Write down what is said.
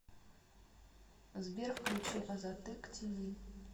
сбер включи азаттык ти ви